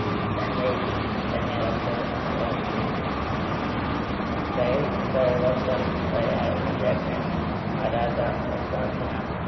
തന്റെ തന്നെ record അഹ് തിരുത്തി. Real Zaragoza, , അലാഗ,